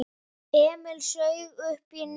Emil saug uppí nefið.